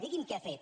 digui’m què ha fet